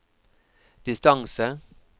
distance